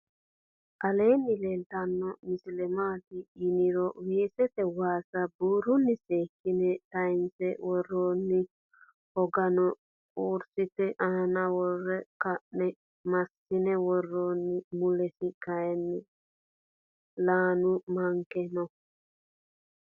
aleni leltano misile maati yiiniro wesete wasa burhuni sekine tatayinse worronni .hogano kursete aana worre ka'ne masine woronni. muulesi kayini laanu manki noo.